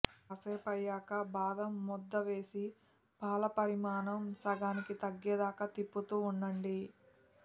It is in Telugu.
కాసేపయ్యాక బాదం ముద్దవేసి పాలపరిమాణం సగానికి తగ్గేదాకా తిప్పుతూ ఉండండి